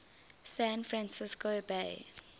san francisco bay